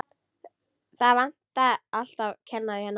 Það vantar alltaf kennara hérna.